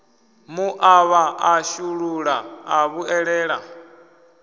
muṱavha ḽa shulula ḽa vhuelela